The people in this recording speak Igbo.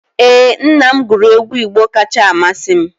Ee, nna m guru egwu Igbo kacha amasị m